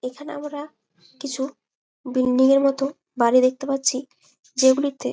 এইখানে আমরা কিছু বিল্ডিঙের মতো বাড়ি দেখতে পারছি। যেগুলিতে--